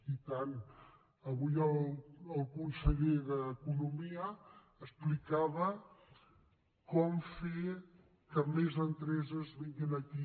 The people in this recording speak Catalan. i tant avui el conseller d’economia explicava com fer que més empreses vinguin aquí